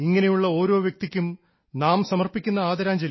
ഇങ്ങനെയുള്ള ഓരോ വ്യക്തികൾക്കും നാം സമർപ്പിക്കുന്ന ആദരാഞ്ജലി